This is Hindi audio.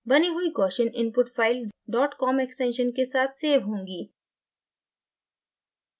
बनी हुई gaussian input file dot com extension के साथ सेव होगी